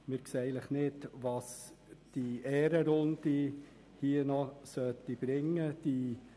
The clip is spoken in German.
Wir sehen nicht, was die Ehrenrunde noch bringen sollte.